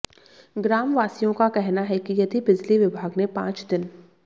ग्राम वासियों का कहना है कि यदि बिजली विभाग ने पांच दिन